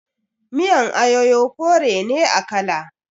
Miyan ayoyo kore ne a kala.